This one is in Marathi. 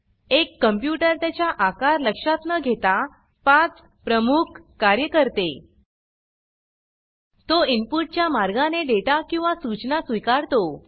एक कंप्यूटर त्याच्या आकार लक्षात न घेता पाच प्रमुख कार्ये करते तो इनपुट च्या मार्गाने डेटा किंवा सूचना स्वीकारतो